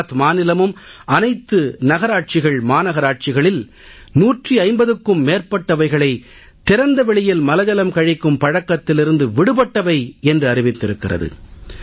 குஜராத் மாநிலமும் அனைத்து நகராட்சிகள்மாநகராட்சிகளில் 150க்கும் மேற்பட்டவைகளை திறந்த வெளியில் மலஜலம் கழிக்கும் பழக்கத்திலிருந்து விடுபட்டவை என்று அறிவித்திருக்கிறது